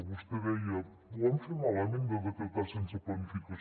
vostè deia ho vam fer malament de decretar sense planificació